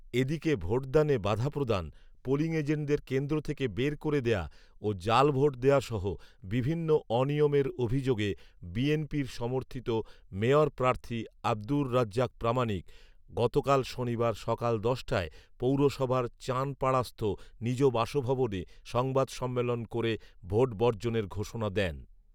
এদিকে ভোটদানে বাধা প্রদান, পোলিং এজেন্টদের কেন্দ্র থেকে বের করে দেওয়া ও জাল ভোট দেওয়াসহ বিভিন্ন অনিয়মের অভিযোগে বিএনপির সমর্থিত মেয়র প্রার্থী আব্দুর রাজ্জাক প্রামানিক গতকাল শনিবার সকাল দশটায় পৌরসভার চাঁনপাড়াস্থ নিজ বাসভবনে সংবাদ সম্মেলন করে ভোট বর্জণের ঘোষনা দেন